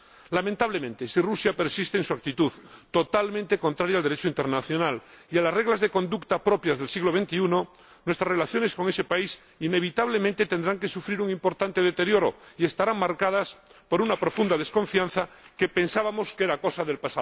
Lamentablemente, si Rusia persiste en su actitud totalmente contraria al Derecho internacional y a las reglas de conducta propias del siglo XXI, nuestras relaciones con ese país inevitablemente tendrán que sufrir un importante deterioro y estarán marcadas por una profunda desconfianza que —pensábamos— era cosa del